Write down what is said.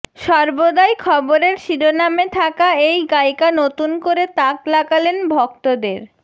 সর্বদাই খবরের শিরোনামে থাকা এই গায়িকা নতুন করে তাক লাগালেন ভক্তদের